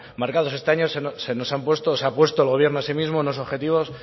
marcados este año se ha puesto el gobierno a sí mismo unos objetivos